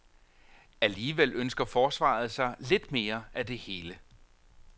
Alligevel ønsker forsvaret sig lidt mere af det hele.